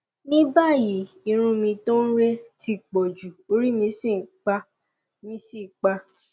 ní báyìí irun mi tó ń re ti pọjù orí mì sì pá mì sì pá